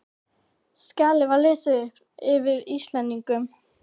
Skjalið var lesið upp yfir Íslendingunum.